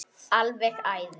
Alveg æði.